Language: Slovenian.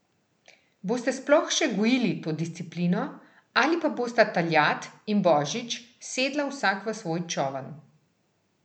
Boste sploh še gojili to disciplino, ali pa bosta Taljat in Božič sedla vsak v svoj čoln?